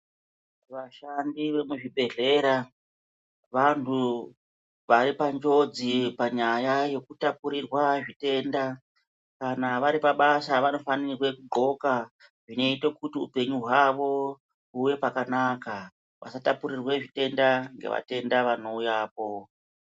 Vashandi vemuzvibhedhlera vantu vari panjodzi panyaya yekutapurirwa zvitenda. Kana vari pabasa vanofanirwe kudhloka zvinote kuti upenyu hwavo huve pakanaka. Vasatapurirwe zvitenda nevatenda vanouyapo.